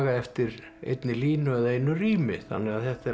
eftir eini línu eða einu rími þannig að þetta er